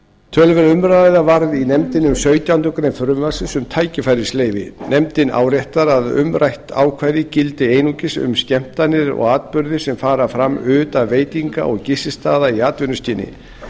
töluverð umræða varð í nefndinni um sautjándu grein frumvarpsins um tækifærisleyfi nefndin áréttar að umrætt ákvæði gildi einungis um skemmtanir og atburði sem fara fram utan veitinga og gististaða í atvinnuskyni